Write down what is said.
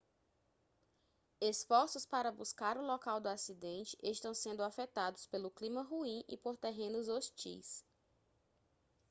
esforços para buscar o local do acidente estão sendo afetados pelo clima ruim e por terrenos hostis